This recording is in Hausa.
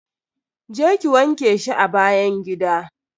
Je ki wanke shi a bayn gida.